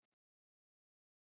Og tapar.